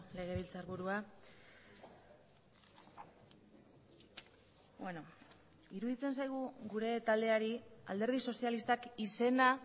legebiltzarburua iruditzen zaigu gure taldeari alderdi sozialistak izena